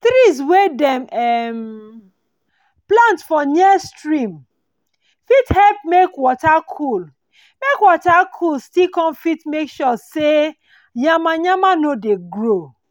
trees wey dem um plant for near stream fit help make water cool make water cool still con fit make sure say yamayama no dey grow